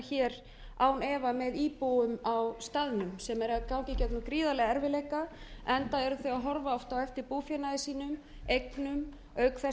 hér án ef með íbúum á staðnum sem eru að ganga í gegnum gríðarlega erfiðleika enda eru þau að horfa oft á eftir búfénaði sínum eignum auk þess